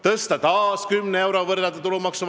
Nüüd on see 500 eurot ja paljud inimesed võidavad 64 eurot iga kuu.